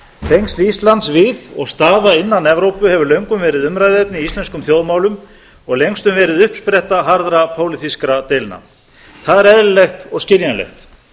tengsl íslands við og staða innan evrópu hefur löngum verið umræðuefni í íslenskum þjóðmálum og lengstum verið uppspretta harðra pólitískra deilna það er eðlilegt og skiljanlegt